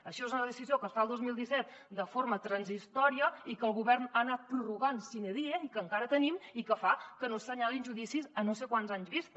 això és una decisió que es fa el dos mil disset de forma transitòria i que el govern ha anat prorrogant sine die i que encara tenim i que fa que no s’assenyalin judicis a no sé quants anys vista